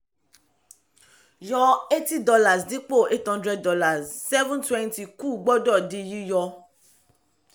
yọ eighty dollars dípò eight hundred dollars seven twenty kù gbọ́dọ̀ di yíyọ.